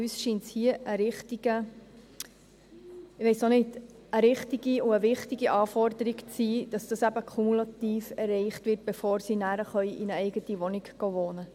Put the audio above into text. Uns scheint es hier, ich weiss auch nicht, eine richtige und wichtige Anforderung zu sein, dass das eben kumulativ erreicht wird, bevor sie nachher in einer eigenen Wohnung wohnen können.